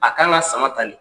A kan ka sama tannen.